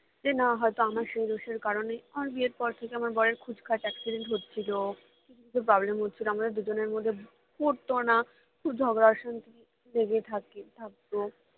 যে না হয়তো আমার সেই দোষের কারণে আমার বিয়ের পর থেকে আমার বরের খুচখাচ accident হচ্ছিলো খুব problem এ ছিলাম আমাদের দুজনের মধ্যে পটতো না খুব ঝগড়া অশান্তি লেগেই থাকে থাকতো